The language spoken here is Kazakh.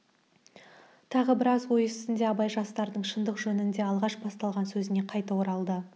тағы біраз ой үстінде абай жастардың шындық жөнінде алғаш басталған сөзіне қайта оралды